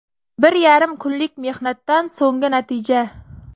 Bir yarim kunlik mehnatdan so‘nggi natija”.